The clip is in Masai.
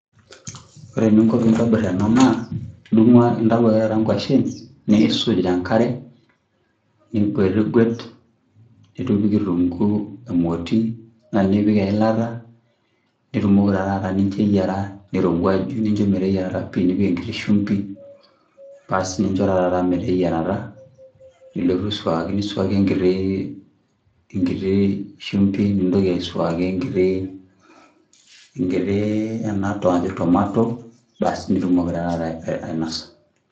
Ore eninko pintobir ena naa, idung'u intau ake taata nkwashen, niisuj tenkare, niguetiguet, nidung' kitunkuu emoti, na nipik eilata, nitumoki ta taata nincho eyiara, nirowuaju, nincho meteyiarata pi, nipik enkiti shumbi, nincho ta taata meteyiarata, nilotu aisuaki, nisuaki enkiti, enkiti shumbi, nintoki aisuaki enkiti, enatoki najo tomato basi nitumoki ta taata ainosa.